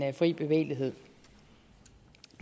fri bevægelighed